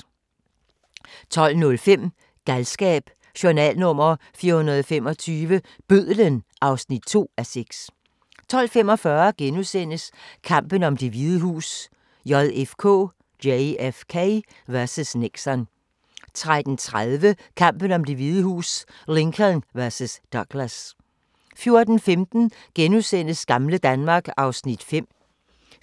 12:05: Galskab: Journal nr. 425 – Bødlen (2:6) 12:45: Kampen om Det Hvide Hus: JFK vs. Nixon * 13:30: Kampen om Det Hvide Hus: Lincoln vs. Douglas 14:15: Gamle Danmark (Afs.